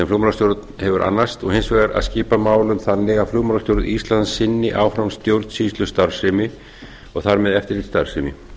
flugmálastjórn hefur annast og hins vegar að skipa málum þannig að flugmálastjórn ísland sinni áfram stjórnsýslustarfsemi og þar með eftirlitsstarfsemi